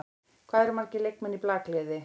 Hvað eru margir leikmenn í blakliði?